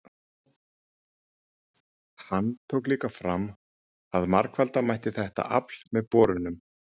Hann tók líka fram að margfalda mætti þetta afl með borunum.